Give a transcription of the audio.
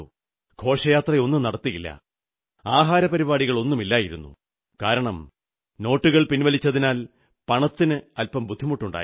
ഘോഷയാത്രയൊന്നും നടത്തിയില്ല ആഹാരപരിപാടികളൊന്നുമില്ലായിരുന്നുകാരണം നോട്ടുകൾ പിൻവലിച്ചതിനാൽ പണത്തിന് അല്പം ബുദ്ധിമുട്ടുണ്ടായി